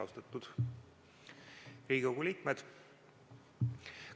Austatud Riigikogu liikmed!